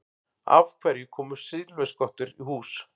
Af hverju koma silfurskottur í hús?